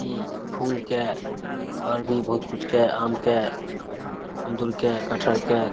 इ फुल के और भी बहुत कुछ के आम के अंगूर के कटहल के --